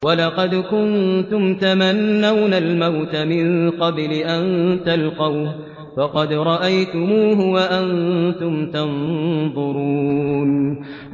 وَلَقَدْ كُنتُمْ تَمَنَّوْنَ الْمَوْتَ مِن قَبْلِ أَن تَلْقَوْهُ فَقَدْ رَأَيْتُمُوهُ وَأَنتُمْ تَنظُرُونَ